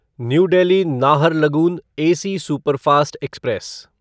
new Delhi Naharlagun AC superfast express